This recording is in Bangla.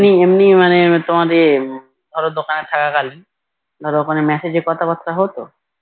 ধরো ওখানে Messages তে কথা বার্তা হতো